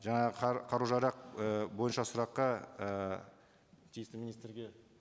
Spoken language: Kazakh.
жаңағы қару жарақ і бойынша сұраққа ы тиісті министрге